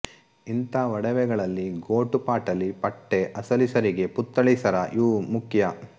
ಇಂಥ ಒಡವೆಗಳಲ್ಲಿ ಗೋಟು ಪಾಟಲಿ ಪಟ್ಟೆ ಅಸಲಿ ಸರಿಗೆ ಪುತ್ಥಳಿ ಸರ ಇವು ಮುಖ್ಯ